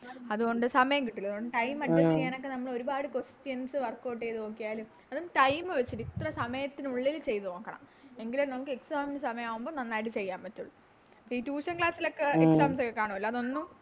അതുകൊണ്ട് സമയം കിട്ടൂല അതുകൊണ്ട് Time adjust ചെയ്യാൻ ഒരുപാട് Questions workout ചെയ്ത നോക്കിയാലും അതും Time വെച്ചിട്ട് ഇത്ര സമയത്തിനുള്ളിൽ ചെയ്ത നോക്കണം എങ്കിലേ നിങ്ങൾക്ക് Exam ൻറെ സമയാവുമ്പോ നന്നായിട്ട് ചെയ്യാൻ പറ്റുള്ളൂ ഈ Tution class ലോക്കെ കണുവല്ലോ അതൊന്നും